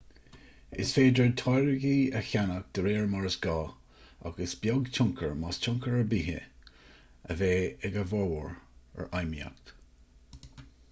is féidir táirgí a cheannach de réir mar is gá ach is beag tionchar más tionchar ar bith é a bheidh ag a bhformhór ar fheidhmíocht